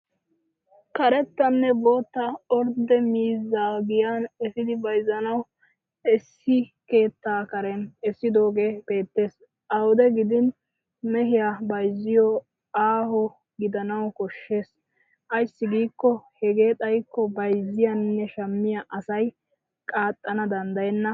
Karettanne bootta ordde miizzaa giyaan efidi bayzzanawu issi keettaa karen essidoogee beettes. Awude gidin mehiyaa bayzziyoo aaho gidanawu koshshes ayssi qiikko hegee xayikko bayyzziyaanne shammiya asay qaaxxana danddayenna.